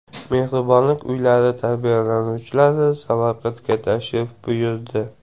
Mehribonlik uylari tarbiyalanuvchilari Samarqandga tashrif buyurdi.